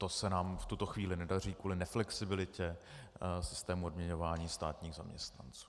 To se nám v tuto chvíli nedaří kvůli neflexibilitě systému odměňování státních zaměstnanců.